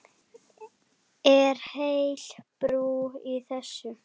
Er heil brú í þessu?